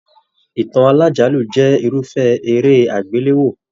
Ìtàn alájálù jẹ irufẹ eré agbelewo.